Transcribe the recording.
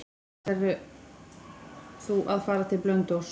Ætlar þú að fara til Blönduóss?